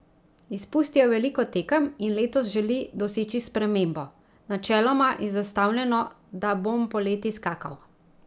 Izpustil je veliko tekem in letos želi doseči spremembo: "Načeloma je zastavljeno, da bom poleti skakal.